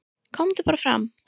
"""KOMDU BARA FRAM,"""